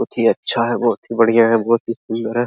बहुत ही अच्छा है बहुत ही बढ़िया है बहुत ही सुंदर है।